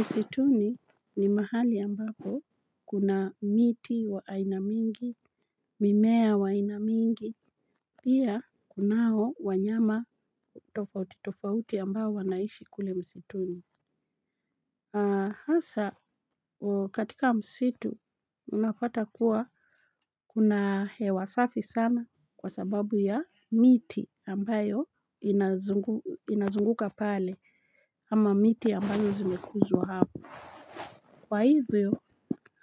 Msituni, ni mahali ambapo, kuna miti wa aina mingi, mimea wa ainamingi, pia, kunao, wanyama tofauti, tofauti ambao wanaishi kule msituni. Hasa, katika msitu, unapata kuwa, kuna hewa safi sana, kwa sababu ya, miti ambayo inazunguka pale, ama miti ambalo zimekuzwa hapo. Kwa hivyo,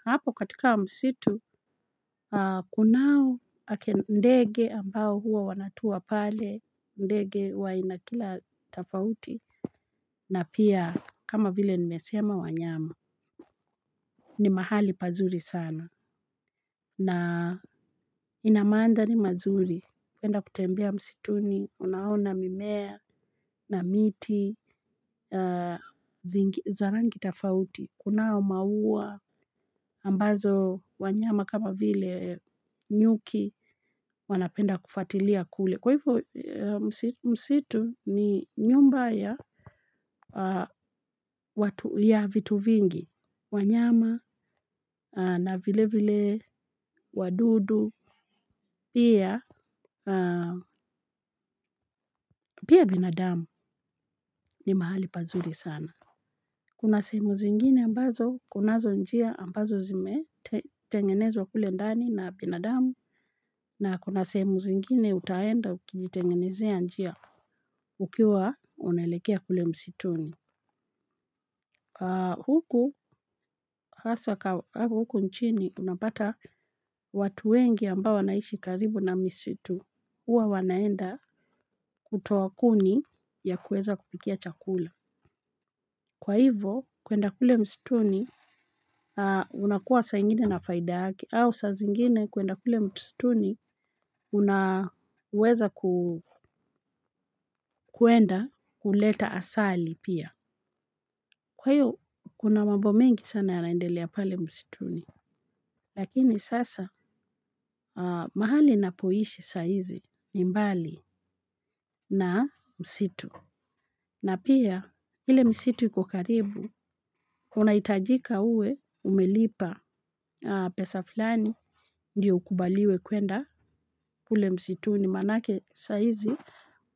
hapo katika msitu, kunau ndege ambao huwa wanatua pale, ndege wa aina kila tafauti, na pia, kama vile nimesema wanyama. Ni mahali pazuri sana. Na inamandhari mazuri. Penda kutembea msituni, unaona mimea na miti, za rangi tafauti. Kunao maua, ambazo wanyama kama vile, nyuki, wanapenda kufatilia kule. Kwa hivo msitu, ni nyumba ya ya vitu vingi. Wanyama, na vile vile wadudu, pia. Pia binadamu. Ni mahali pazuri sana. Kuna sehemu zingine ambazo, kunazo njia ambazo zime tengenezwa kule ndani na binadamu. Na kuna sehemu zingine, utaenda ukijitengenezia njia. Ukiwa, unaelekea kule msituni. Huku nchini, unapata, watu wengi ambao wanaishi karibu na misitu, huwa wanaenda, kutoa kuni, ya kuweza kupikia chakula. Kwa hivo, kuenda kule mstuni, unakua saa ingine na faida yake. Au saa zingine, kuenda kule msituni una uweza kuenda, kuleta asali pia. Kwa hio kuna mabomengi sana yanaendelea pale msituni. Rakini sasa, mahali ninapoishi saizi, ni mbali na msitu. Na pia, ile misitu iko karibu, hunaitajika uwe umelipa pesa fulani ndio ukubaliwe kwenda kule msituni. Maanake saa izi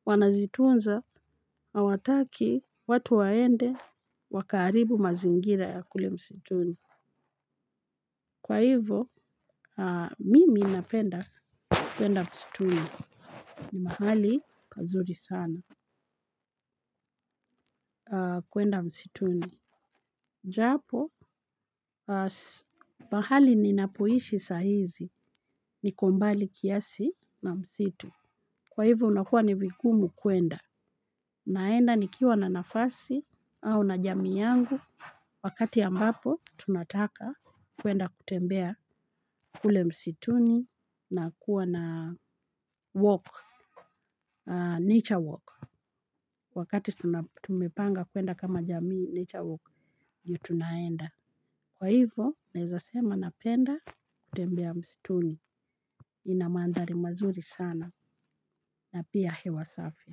wanazitunza, awataki watu waende, wakaharibu mazingira ya kule msituni. Kwa hivo, mimi, napenda kwenda msituni. Ni mahali, pazuri sana. Kwenda msituni. Japo, mahali ninapoishi sahizi. Niko mbali kiasi na msitu. Kwa hivo, unakuwa nivigumu kwenda. Naenda nikiwa na nafasi au na jamii yangu. Wakati ambapo, tunataka kwenda kutembea kule msituni na kuwa na walk. Nature walk. Wakati tumepanga kuenda kama jamii nature walk, ndio tunaenda. Kwa hivo naeza sema, napenda kutembea mstuni. Inamandhari mazuri sana. Na pia hewa safi,